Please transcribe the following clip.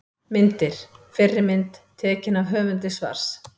Myndir: Fyrri mynd: Tekin af höfundi svars.